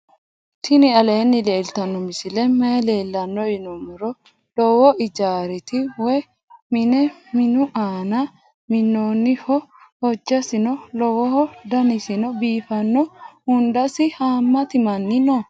tini aleni leltano misileni maayi leelano yinnumoro. loowo ijarati woyi mine minu anani minoniho hojasino loowoho danasino biifano. huundasi hamati manni noo.